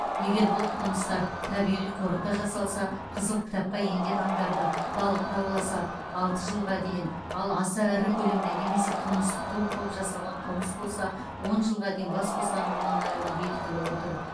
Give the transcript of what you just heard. егер бұл қылмыстар табиғи қорықта жасалса қызыл кітапқа енген аңдарды балықты ауласа алты жылға дейін ал аса ірі көлемде немесе қылмыстық топ болып жасалған қылмыс болса он жылға дейін бас бостандығынан айыру бекітіліп отыр